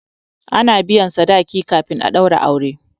a na biyan sadaki kafin a daura aure